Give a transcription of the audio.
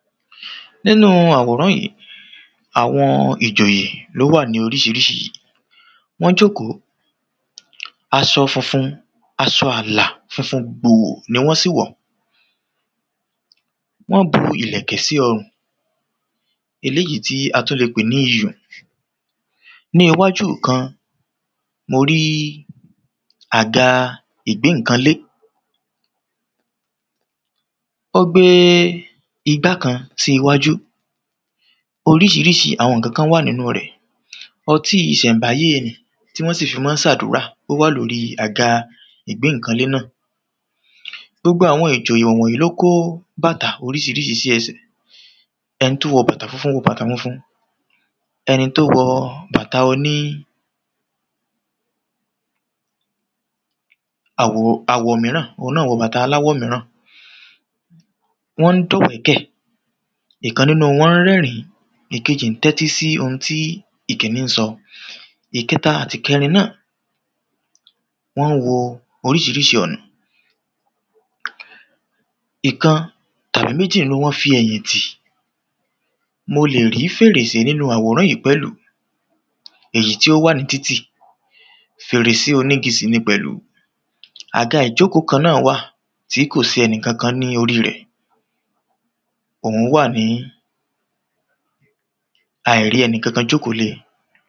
nínu àwòrán yìí àwọn ìjòyè ni ó wà ní oríṣiríṣi wọ́n jòkó, aṣọ funfun, aṣọ ààlà funfun gbòò ni wọ́n sì wọ̀ wọ́n bu ìlẹ̀kẹ̀ sí ọrùn, eléyìí tí a tún lè pè ní iyùn ní iwáju ìkan mo rí àga ìgbé ǹǹkan lé ó gbé igbá kan sí iwájú oríṣiríṣi àwọn ǹkan wà ní inú rẹ̀, ọtí ìṣẹ̀ǹbáyé tí wọ́n fi maá ṣe àdúrà ó wà lóri àga ìgbé ǹkan lé náà gbogbo àwọn ìjòyè wọ̀nyí ni ó kó bàtà oríṣiríṣi sí ẹsẹ̀ ẹni tí ó wọ bàtà funfun wọ bàtà funfun, ẹni tí ó wọ bàtà oní àwọ̀ míràn òun náà wọ bàtà aláwọ̀ míràn. wọ́n ń dọ̀wẹ́kẹ̀, ìkan nínu wọn ń rẹ́rìn ín, ìkejì ń tẹ́tí sí ohun tí ìkíní sọ ìkẹta àti ìkẹrin náà wọ́n wọ oríṣiríṣi ọ̀nà ìkan tàbí méjì nínu wọ́n fi ẹ̀yìn tì mo lè rí fèrèsé nínu àwòrán yìí pẹ̀lú èyí tí ó wà ní títì, fèrèse onígi sì ni pẹ̀lú aga ìjókòó kan náà wà tí kò sí ẹnì kọkan ní orí rẹ̀ òún wà ní, àìrí ẹnì kọkan jókòó lé e.